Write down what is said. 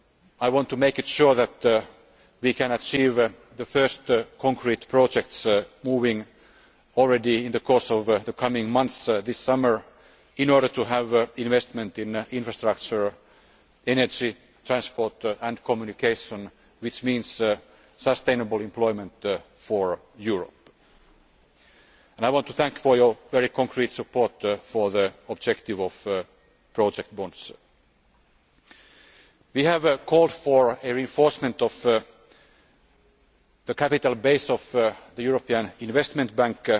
I want to ensure that we can start the first concrete projects moving in the course of the coming months this summer in order to have investment in infrastructure, energy, transport and communication, which means sustainable employment for Europe. I want to thank you for your very concrete support for the objective of project bonds. We have called for reinforcement of the capital base of the European Investment